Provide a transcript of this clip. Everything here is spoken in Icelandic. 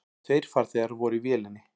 Tveir farþegar voru í vélinni.